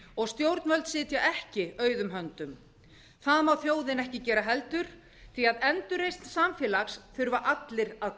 og stjórnvöld sitja ekki auðum höndum það má þjóðin ekki gera heldur því að endurreisn samfélags þurfa allir að